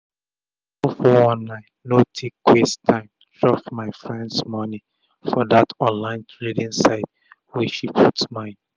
no so 419 no take waste tym chop my friend moni for dat online trading site wey she put mind